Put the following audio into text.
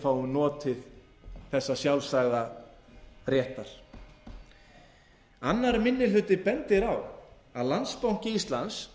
fáum notið þessa sjálfsagða réttar annar minni hluti bendir á að landsbanki íslands